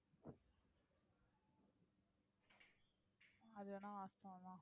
அது வேணா வாஸ்தவம் தான்.